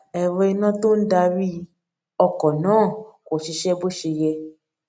ero ina to n dari oko náà kò ṣiṣé bó ṣe yẹ